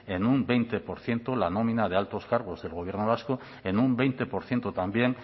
en un veinte por ciento la nómina de altos cargos del gobierno vasco en un veinte por ciento también